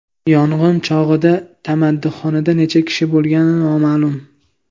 Yong‘in chog‘ida tamaddixonada necha kishi bo‘lgani noma’lum.